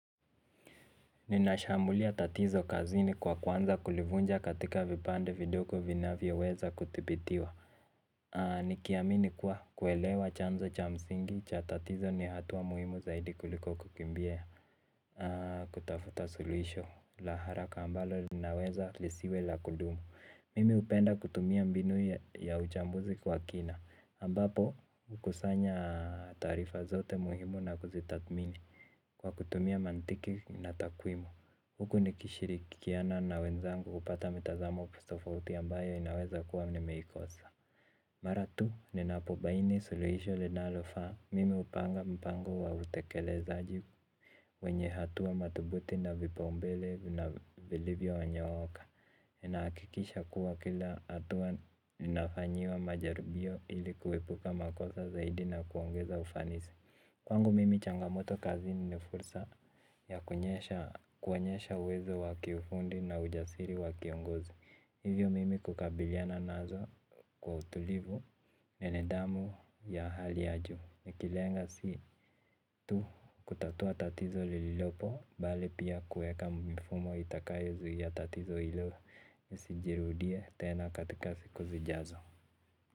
Ninashambulia tatizo kazini kwa kuanza kulivunja katika vipande vidogo vinavyoweza kuthibitiwa. Nikiamini kuwa kuelewa chanzo cha msingi cha tatizo ni hatua muhimu zaidi kuliko kukimbia. Kutafuta suluhisho la haraka ambalo linaweza lisiwe la kudumu. Mimi hupenda kutumia mbinu ya uchambuzi kwa kina ambapo hukusanya taarifa zote muhimu na kuzitathmini kwa kutumia mantiki na takwimu, huku nikishirikiana na wenzangu kupata mitazamo tofauti ambayo inaweza kuwa nimeikosa. Mara tu ninapobaini suluhisho linalofaa, mimi hupanga mpango wa utekelezaji wenye hatua madhubuti na vipaumbele na vilivyonyooka, ninahakikisha kuwa kila hatua inafanyiwa majaribio ili kuepuka makosa zaidi na kuongeza ufanisi. Kwangu mimi changamoto kazini ni fursa ya kuonyesha uwezo wa kiufundi na ujasiri wa kiongozi. Hivyo mimi kukabiliana nazo kwa utulivu, na nidhamu ya hali ya juu. Nikilenga si tu kutatua tatizo lililopo, bali pia kuweka mifumo itakayozuia tatizo hilo lisijirudie tena katika siku zijazo.